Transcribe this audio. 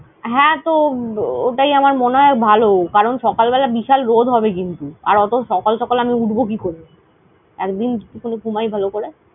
হ্যাঁ, তো ওটাই আমার মনে হয় ভালো। কারণ সকাল বেলা বিশাল রোদ হবে কিন্তু। আর অতো সকাল সকাল আমি উঠবো কি করে? একদিন শুধু ঘুমাই ভালো করে।